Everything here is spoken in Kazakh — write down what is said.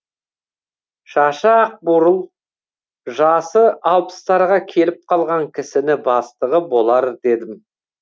шашы ақ бурыл жасы алпыстарға келіп қалған кісіні бастығы болар дедім